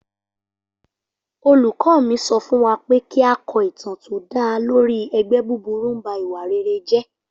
Olùkọ́ mi sọ fún wa pé kí a kọ ìtàn tó dá lórí 'ẹgbẹ́ búburú ń ba ìwà rere jẹ́'